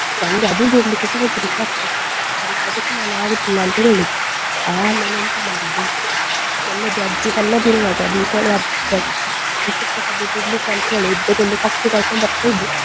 ನಂಗೆ ಅದು ಬಿಡ್ಲಿಕ್ಕೆಸಾ ಹೆದ್ರಿಕ್ಕೆ ಆಗ್ತದೆ ನಾನ್ ಆಗುದಿಲ್ಲ ಅಂತ ಹೇಳಿದ್ದು. ಆಮೇಲೆ ಎಂತ ಮಾಡಿದ್ದು ನನ್ನದು ಅಜ್ಜಿ ಸಣ್ಣದು ಇರುವಾಗ Deepavali ಹಬ್ಬಕ್ಕೆ ನಕ್ಷತ್ರ ಕಡ್ಡಿ ಬಿಡ್ಲಿಕಂತ ಹೇಳಿ ಇಬ್ಬರನ್ನು ಕಟ್ಟಿ ಕರ್ಕೊಂಡು ಬರ್ತಿದ್ರು ಅದಕ್ಕೆ.